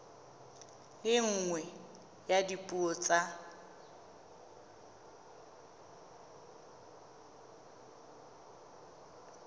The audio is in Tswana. le nngwe ya dipuo tsa